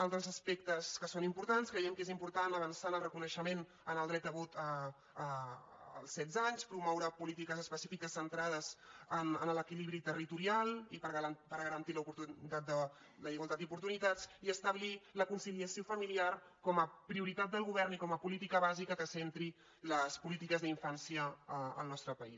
altres aspectes que són importants creiem que és im·portant avançar en el reconeixement del dret a vot als setze anys promoure polítiques específiques centra·des en l’equilibri territorial per garantir la igualtat d’oportunitats i establir la conciliació familiar com a prioritat del govern i com a política bàsica que centri les polítiques d’infància al nostre país